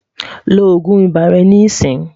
lọ ogún ibà rè ní ìsìn